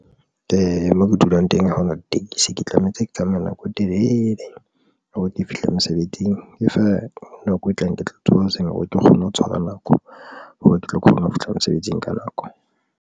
Moo ke dulang teng ha hona ditekesi, ke tlamehetse ke tsamaya nako e telele hore ke fihle mosebetsing e fa nako e tlang. Ke tla tsoha hoseng hore ke kgone ho tshwara nako hore ke tlo kgona ho fihla mosebetsing ka nako.